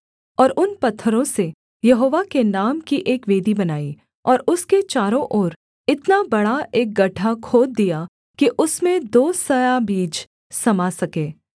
और उन पत्थरों से यहोवा के नाम की एक वेदी बनाई और उसके चारों ओर इतना बड़ा एक गड्ढा खोद दिया कि उसमें दो सआ बीज समा सके